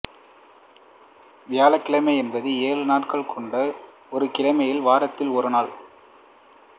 வியாழக்கிழமை என்பது ஏழு நாட்கள் கொண்ட ஒரு கிழமையில் வாரத்தில் ஒரு நாள்